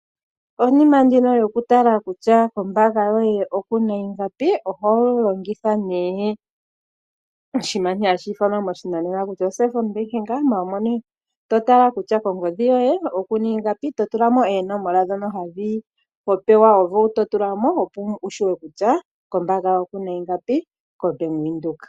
Omukalo gokutala kutya kombaanga yoye oku na ingapi oho longitha nduno omukalo gokulongitha omapungulilo gopangodhi, to tala kutya kongodhi yoye oku na ingapi, to tula mo oonomola dhoye dhomeholamo, opo wu tseye kutya kombaanga yoye oku na ingapi koBank Windhoek.